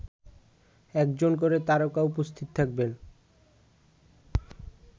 একজন করে তারকা উপস্থিত থাকবেন